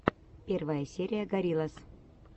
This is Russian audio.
первая серия гориллас